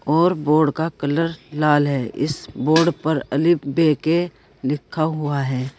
और बोर्ड का कलर लाल है इस बोर्ड पर अलि बेके लिखा हुआ है।